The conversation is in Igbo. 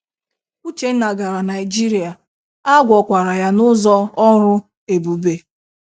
Uchenna gara Naịjirịa, a gwọkwara ya n’ụzọ ọrụ ebube.